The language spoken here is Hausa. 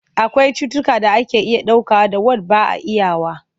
Akwai cututtukan da ake iya dauka da wand ba a iyawa.